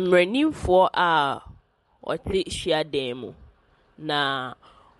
Mmaranimfoɔ a wɔte hyiadan mu, na